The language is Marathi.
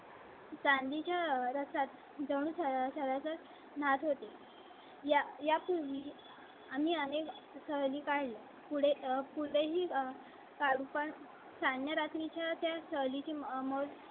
चांदी च्या व्रतात जवळ नाथ होती. या पूर्वी आम्ही आणि सहली काय? पुढे पुढे ही काढू पण छान रात्री च्या शैली ची मग